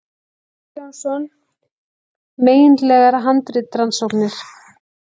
Már Jónsson, Megindlegar handritarannsóknir